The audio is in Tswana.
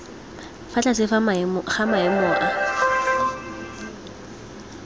fa tlase ga maemo a